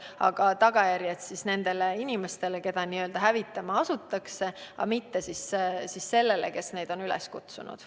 Aga tagajärjed nendele inimestele, keda hävitama asutakse, mitte sellele, kes on teisi üles kutsunud.